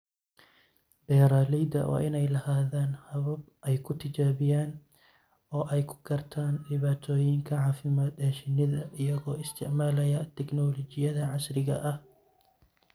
Beeralayda waa inay lahaadaan habab ay ku tijaabiyaan oo ay ku gartaan dhibaatooyinka caafimaad ee shinnida iyagoo isticmaalaya tignoolajiyada casriga ah.